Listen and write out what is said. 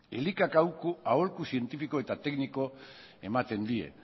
elikak aholku zientifiko eta tekniko ematen die